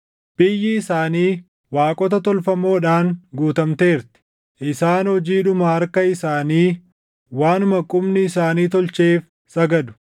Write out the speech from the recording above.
Biyyi isaanii waaqota tolfamoodhaan guutamteerti; isaan hojiidhuma harka isaanii, waanuma qubni isaanii tolcheef sagadu.